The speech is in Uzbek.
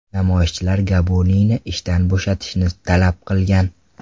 Namoyishchilar Gabuniyni ishdan bo‘shatishni talab qilgan.